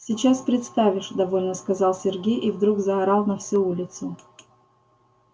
сейчас представишь довольно сказал сергей и вдруг заорал на всю улицу